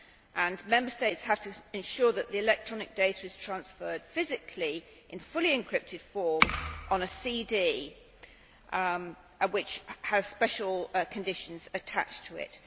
and Member States would have to ensure that the electronic data is transferred physically in fully encrypted form on a CD which has special conditions attached to it.